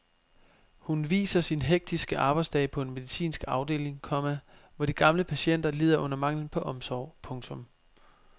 Hun viser sin hektiske arbejdsdag på en medicinsk afdeling, komma hvor de gamle patienter lider under manglen på omsorg. punktum